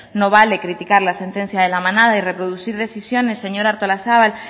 no vale criticar la sentencia de la manada y reproducir decisiones señora artolazabal